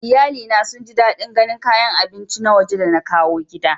Iyalina sun ji dadin ganin kayan abinci na waje da na kawo gida.